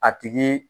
A tigi